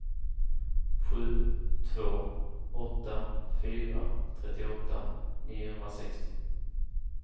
sju två åtta fyra trettioåtta niohundrasextio